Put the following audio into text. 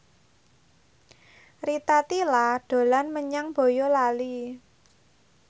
Rita Tila dolan menyang Boyolali